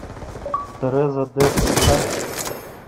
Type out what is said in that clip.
тереза д поставь